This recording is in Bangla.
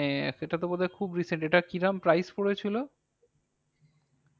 মানে এটা তো বোধহয় খুব recent এটা কিরাম price পড়েছিল?